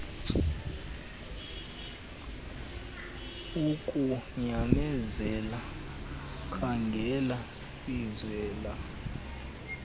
ukunyamezela khaangela siswela